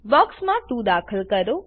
બોક્સમા 2 દાખલ કરો